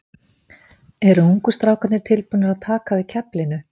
Eru ungu strákarnir tilbúnir að taka við keflinu?